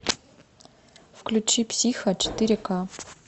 включи психо четыре к